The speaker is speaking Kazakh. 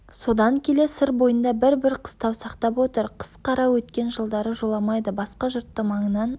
содан келе сыр бойында бір-бір қыстау сақтап отыр қыс қара өткен жылдары жоламайды басқа жұртты маңынан